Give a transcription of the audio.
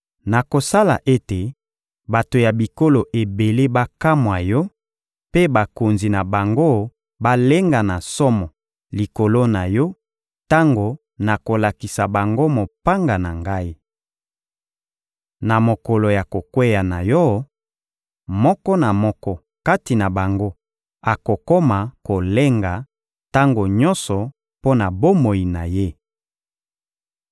Nakosala ete bato ya bikolo ebele bakamwa yo mpe bakonzi na bango balenga na somo likolo na yo tango nakolakisa bango mopanga na Ngai. Na mokolo ya kokweya na yo, moko na moko kati na bango akokoma kolenga tango nyonso mpo na bomoi na ye.